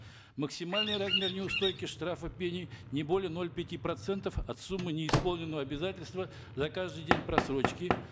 максимальный размер неустойки штрафа пени не более ноль пяти процентов от суммы неисполненного обязательства за каждый день просрочки